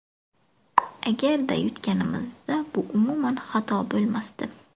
Agarda yutganimizda bu umuman xato bo‘lmasdi.